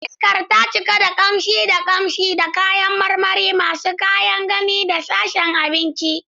Iskar ta cika da kamshi da kamshi da kayan marmari masu kyan gani a sashen abinci.